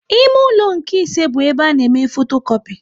Ime ụlọ nke ise bụ ebe a na eme fotokopi